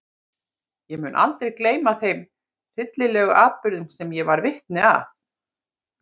Ég mun aldrei gleyma þeim hryllilegu atburðum sem ég varð vitni að þar.